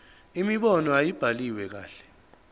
imibono ayibhaliwe kahle